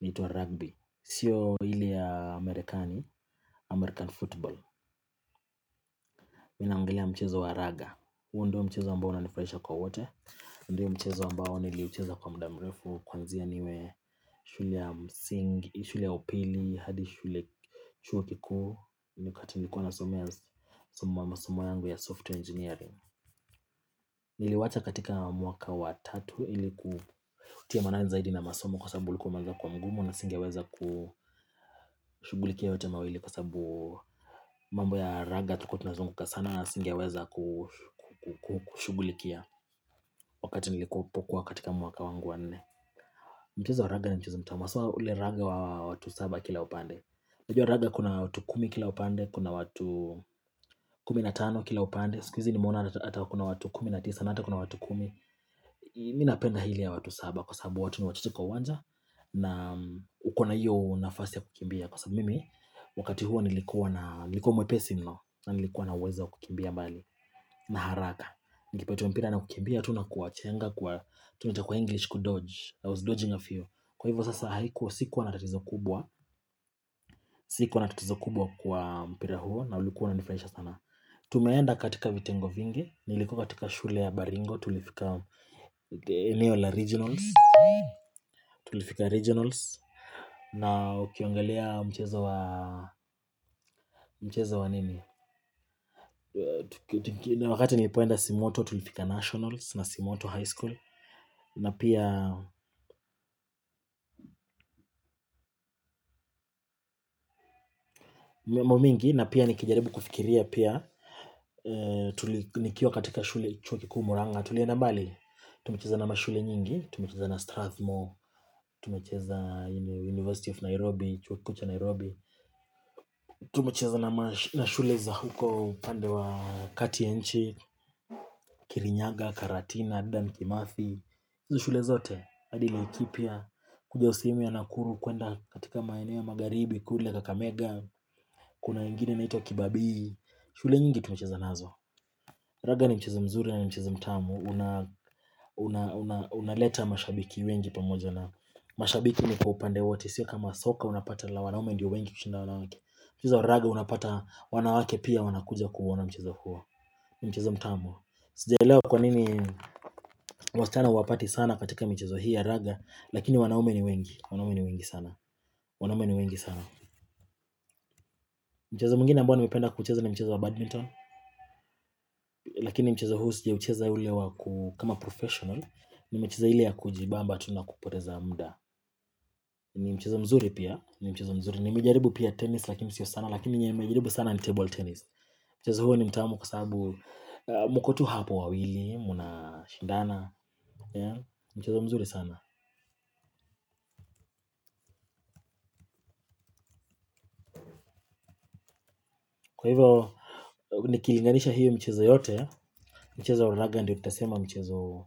inaitwa rugby. Sio ile ya Amerikani, American Football, mimi naongelea mchezo wa raga. Huo ndio mchezo ambao unanifurahisha kwa wote, ndio mchezo ambao niliucheza kwa muda mrefu, kuanzia niwe shule ya msingi, shule ya upili, hadi shule, chuo kikuu, wakati nilikuwa nasomea masomo yangu ya software engineering. Niliwacha katika mwaka wa tatu, ili kutia maanani zaidi na masomo kwa sababu ulikuwa umeanza kuwa mgumu, na singeweza kushughulikia yote mawili, kwa sababu mambo ya raga, tulikuwa tunazunguka sana na singeweza ku kushughulikia, wakati nilikopokuwa katika mwaka wangu wa nne. Mchezo raga ni mchezo mtamu sana, ule raga wa watu saba kila upande. Unajua raga kuna watu kumi kila upande, kuna watu kumi na tano kila upande, siku hizi nimeona hata kuna watu kumi na tisa, na hata kuna watu kumi. Mimi napenda ile ya watu saba kwa sababu watu ni wachache kwa uwanja, na uko na hiyo nafasi ya kukimbia, kwa sababu mimi, wakati huo nilikuwa na, nilikuwa mwepesi mno na nilikuwa na uwezo wa kukimbia mbali, na haraka. Nikipatiwa mpira na kukimbia tu na kuwachenga kuwa, tunaita kwa English kudodge, I was dodging a few, kwa hivyo sasa haikuwa, sikuwa na tatizo kubwa Sikuwa na tatizo kubwa kwa mpira huo, naulikuwa unanifurahisha sana. Tumeenda katika vitengo vingi, nilikuwa katika shule ya Baringo. Tulifika eneo la regionals, tulifika regionals na ukiangalia mchezo wa, mchezo wa nini na wakati nilipoenda simoto tulifika nationals na simoto high school, na pia momingi, na pia nikijaribu kufikiria pia, tuli nikiwa katika shule, chuo kikuu murang'a tulienda mbali. Tumecheza na mashule nyingi, tumecheza na Strathmore, tumecheza University of Nairobi, chuo kukuu cha Nairobi Tumecheza na mashule za huko upande wa kati nchi, Kirinyaga, Karatina, Dedan, Kimathi, hizo shule zote hadi Laikipia, hiyo sehemu ya Nakuru kuenda katika maeneo ya magharibi, kule Kakamega, kuna ingine inaitwa Kibabii, shule nyingi tumecheza nazo. Raga ni mchezo mzuri na mchezo mtamu, una unaleta mashabiki wengi pamoja, na, mashabiki ni kwa upande wote, sio kama soka unapata la wanaume ndiyo wengi kushinda wanawake, mchezo wa raga unapata, wanawake pia wanakuja kuuona mchezo huo mchezo mtamu, sijaelewa kwa nini, waschana huwapati sana, katika michezo hii ya raga, lakini wanaume ni wengi, wanaume ni wengi sana mchezo mwingine ambao nimependa kucheza na mchezo wa badminton, lakini mchezo huu sijaucheza ule wa ku kama professional, nimecheza ile ya kujibamba tu na kupoteza muda. Ni mchezo mzuri pia. Ni mchezo mzuri. Nimejaribu pia tennis lakini sio sana. Lakini yenye nimejaribu sana ni table tennis, Mchezo huo ni mtamu kwa sababu mko tu hapo wawili, mnashindana. Mchizo mzuri sana. Kwa hivyo, nikilinganisha hiyo michezo yote. Mchezo wa raga ndio tutasema mchezo,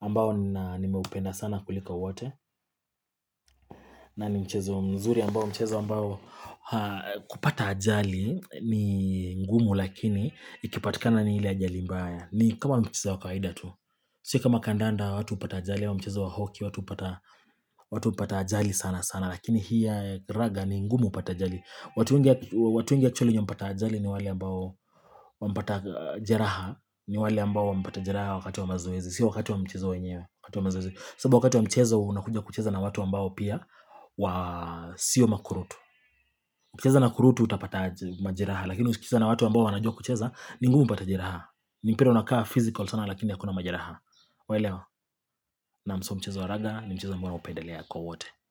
ambao nina nimeupenda sana kuliko wote. Na ni mchezo mzuri, ambao mchezo ambao kupata ajali ni ngumu, lakini ikipatikana ni ile ajali mbaya. Ni kama mchezo wa kawaida tu Si kama kandanda watu hupata ajali au mchezo wa hockey watu hupata ajali sana sana, lakini hii ya raga ni ngumu upate ajali, watu wengi hu watu wengi actually ambao wamepata ajali, ni wale ambao wamepata jeraha, ni wale ambao wamepata jeraha wakati wa mazoezi, sio wakati wa mchezo wenyewe. Sababu wakati wa mchezo unakuja kucheza na watu ambao pia wa Sio makurutu, ukicheza na kurutu utapata majeraha, lakini ukicheza na watu ambao wanajua kucheza ni ngumu upate jeraha ni mpira unakaa physical sana, lakini hakuna majeraha, waelewa, na mso mchezo wa raga ni mchezo ambao naupendelea kwa wote.